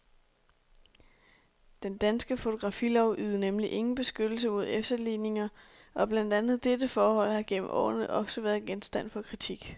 Den danske fotografilov ydede nemlig ingen beskyttelse mod efterligninger, og blandt andet dette forhold har gennem årene ofte været genstand for kritik.